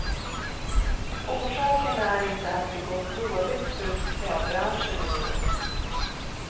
Orsaken är inte att det gått dåligt för klädbranschen i vår.